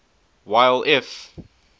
while if